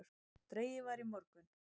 Dregið var í morgun